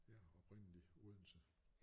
Ja oprindeligt Odense